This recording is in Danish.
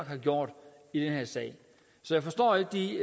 har gjort i den her sag så jeg forstår ikke de